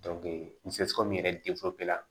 yɛrɛ